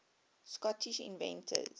scottish inventors